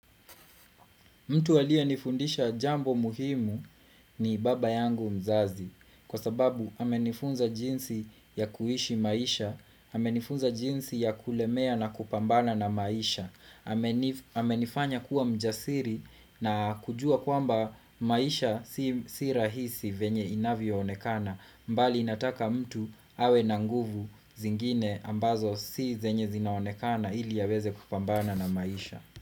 Mtu waliye nifundisha jambo muhimu ni baba yangu mzazi kwa sababu amenifunza jinsi ya kuishi maisha, amenifunza jinsi ya kulemea na kupambana na maisha, amenifanya kuwa mjasiri na kujua kwamba maisha si rahisi venye inavyo onekana bali inataka mtu awe nanguvu zingine ambazo si zenye zinaonekana ili yaweze kupambana na maisha.